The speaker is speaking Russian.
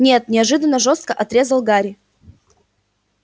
нет неожиданно жёстко отрезал гарри